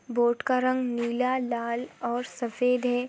Board का रंग नीला लाल और सफ़ेद है।